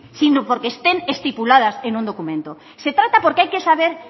sino porque estén estipuladas en un documento se trata porque hay que saber